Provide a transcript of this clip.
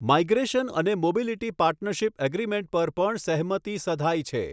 Migration અને mobility partnership agreement પર પણ સહમતિ સધાઇ છે.